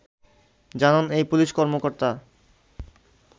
জানান এই পুলিশ কর্মকর্তা